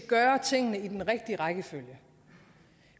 gøre tingene i den rigtige rækkefølge